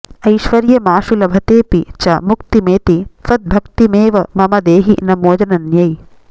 ऐश्वर्यमाशु लभतेऽपि च मुक्तिमेति त्वद्भक्तिमेव मम देहि नमो जनन्यै